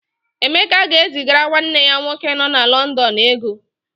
Emeka ga-ezigara nwanne ya nwoke nọ na Lọndọn ego.